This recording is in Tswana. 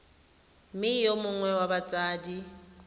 mme yo mongwe wa batsadi